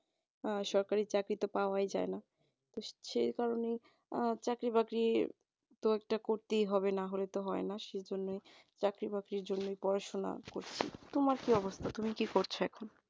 আর সরকারি চাকরিতে পাওয়া যায় না সেই কারণে আহ চাকরি বাকরি তো একটা করতেই হবে না হলে তো হয় না তো সেই জন্য চাকরি বাকরি জন্য পড়াশোনা করছি। তোমার কি অবস্থা তুমি কি করছ